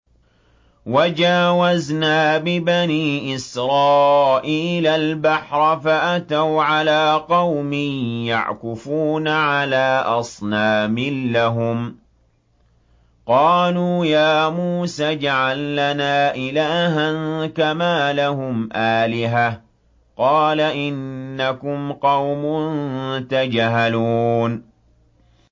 وَجَاوَزْنَا بِبَنِي إِسْرَائِيلَ الْبَحْرَ فَأَتَوْا عَلَىٰ قَوْمٍ يَعْكُفُونَ عَلَىٰ أَصْنَامٍ لَّهُمْ ۚ قَالُوا يَا مُوسَى اجْعَل لَّنَا إِلَٰهًا كَمَا لَهُمْ آلِهَةٌ ۚ قَالَ إِنَّكُمْ قَوْمٌ تَجْهَلُونَ